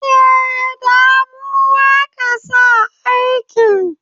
Eh, Da mu aka sa aikin